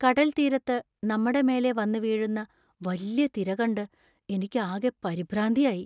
കടൽത്തീരത്ത് നമ്മടെ മേലേ വന്നുവീഴുന്ന വല്യ തിര കണ്ട് എനിക്ക് ആകെ പരിഭ്രാന്തിയായി.